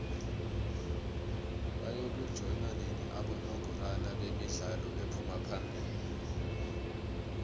bayoku banjoua nini abongorwa bemidlalo ephuma phamili